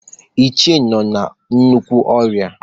Ichie nọ na nnukwu ọrịa